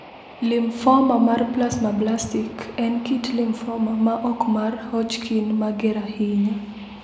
Limfoma mar plasmablastik en kit limfoma ma ok mar Hodgkin mager ahinya.